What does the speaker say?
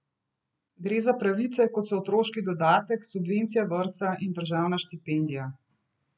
Gre za pravice, kot so otroški dodatek, subvencija vrtca in državna štipendija.